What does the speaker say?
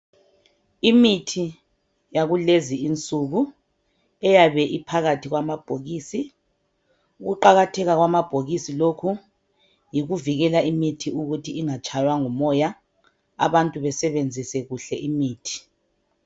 Imithi yakulezi insuku eyabe iphakathi kwamabhokisi. Ukuqakatheka kwamabhokisi lokhu, yikuvikela imithi ukuthi ingatshaywa ngumoya . Abantu besebenzise kuhle imithi.